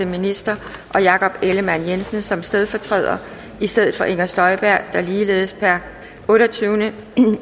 minister og jakob ellemann jensen som stedfortræder i stedet for inger støjberg der ligeledes per otteogtyvende